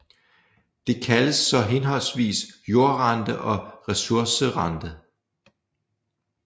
Det kaldes så henholdsvis jordrente og ressourcerente